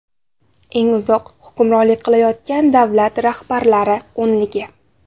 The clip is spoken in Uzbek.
Eng uzoq hukmronlik qilayotgan davlat rahbarlari o‘nligi.